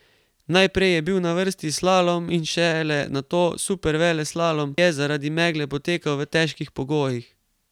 Najprej je bil na vrsti slalom in šele nato superveleslalom, ki je zaradi megle potekal v težkih pogojih.